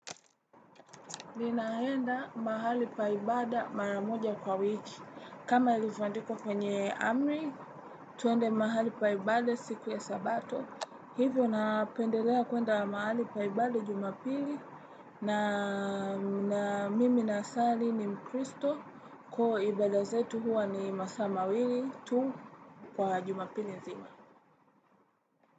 Ninaenda mahali pa ibada mara moja kwa wiki. Kama ilivyo andikwa kwenye amri, tuende mahali pa ibada siku ya sabato. Hivyo napendelea kuenda mahali pa ibada jumapili na mimi nasali ni mkristo kwa ibada zetu huwa ni masaa mawili tu kwa jumapili nzima.